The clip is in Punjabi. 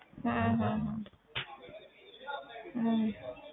ਹਮ ਹਮ ਹਮ ਹਮ